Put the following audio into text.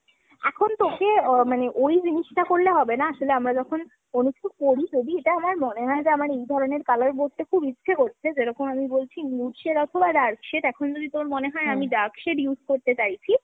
এখন তোকে মানে ওই জিনিসটা করলে হবে না। আসলে আমরা যখন কোনো কিছু পরি, যদি এটা আমার মনে হয় যে আমার এই ধরণের colour পরতে খুব ইচ্ছে করছে, যেরকম আমি বলছি nude shade অথবা dark shade। এখন যদি তোর আমি dark shade use করতে চাইছি